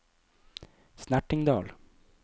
Snertingdal